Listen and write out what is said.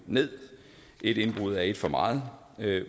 ned et indbrud er et for meget